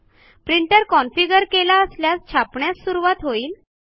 printer configure केला असल्यास छापण्यास सुरूवात होईल